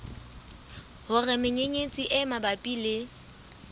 hore menyenyetsi e mabapi le